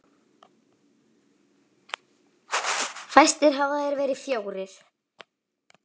Fæstir hafa þeir verið fjórir.